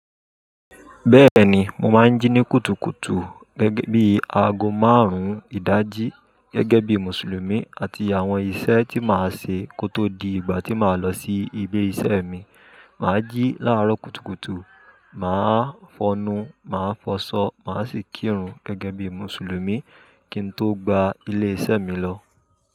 Bẹ́ẹ̀ni, mo máa ń jí ní kùtùkùtù gẹ́gẹ́ bí aago márùn-ún ìdájí gẹ́gẹ́ bí Mùsùlùmí àti àwọn ìṣe tí màá ṣe kó tó di ìgbà tí màá lọ sí ibi iṣẹ́ mi. Màá jí láàárọ̀ kùtùkùtù, màá fọnu, màá fọṣọ, màá sì kírun gẹ́gẹ́ bí Mùsùlùmí kí n tó gba ilé iṣẹ́ mi lọ.